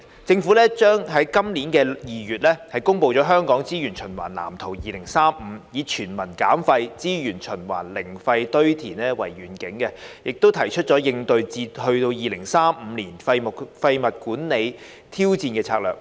政府於今年2月公布《香港資源循環藍圖2035》，以"全民減廢.資源循環.零廢堆填"為願景，提出應對至2035年廢物管理挑戰的策略。